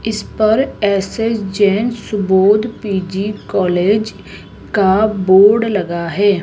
इस पर S S Jain Subodh P G college का बोर्ड लगा है।